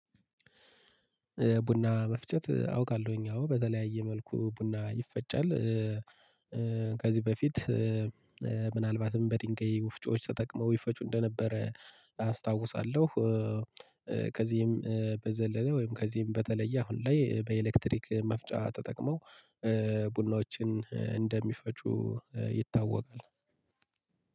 ቡና መፍጨት አውቃለሁኝ አዎ በተለያየ መልኩ ቡና ይፈጫል ከዚህ በፊት ምናልባትም በድንጋይ ወፍጮዎች ተጠቅመው ይፈጩ እንደነበረ አስታውሳለሁ። ከዚህም በዘለለ ወይም ከዚህም በተለየ አሁን ላይ በኤሌክትሪክ መፍጫ ተጠቅመው ቡናዎችን እንደሚፈጩ ይታወቃል።